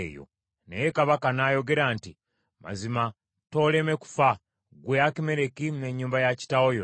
Naye kabaka n’ayogera nti, “Mazima tooleme kufa, ggwe Akimereki, n’ennyumba ya kitaawo yonna.”